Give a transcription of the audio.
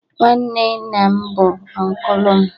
Nwanne nna m bu unkụlu m